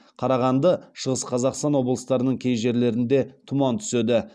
қарағанды шығыс қазақстан облыстарының кей жерлерінде тұман түседі